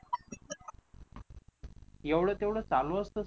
एवढं तेवढं चालू असतं